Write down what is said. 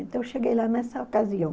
Então, eu cheguei lá nessa ocasião.